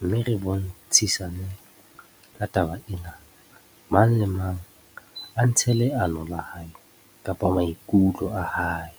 mme re bontshisane ka taba ena. Mang le mang a ntshe leano la hae kapa maikutlo a hae .